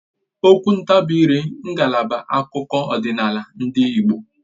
Okwu ntabiire ngalaba akụkọ ọdịnala ndị Igbo